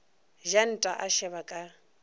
ja nta a šeba ka